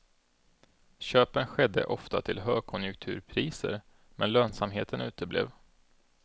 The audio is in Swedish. Köpen skedde ofta till högkonjunkturpriser, men lönsamheten uteblev.